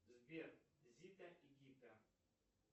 сбер зита и гита